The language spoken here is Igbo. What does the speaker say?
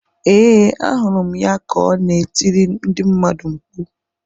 Ee, ahụrụ m ya ka ọ na-etiri ndị mmadụ mkpu.